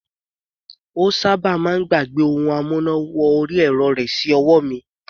Ó sábà máa ń gbàgbẹ́ ohun amúná wọrí ẹ̀rọ rẹ̀ sí ọwọ́ mi.